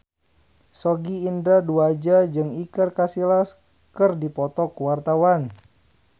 Sogi Indra Duaja jeung Iker Casillas keur dipoto ku wartawan